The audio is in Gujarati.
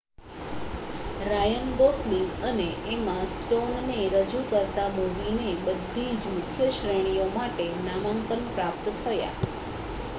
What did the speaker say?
રાયન ગોસલિંગ અને એમા સ્ટોન ને રજૂ કરતા મૂવી ને બધીજ મુખ્ય શ્રેણીઓ માટે નામાંકન પ્રાપ્ત થયા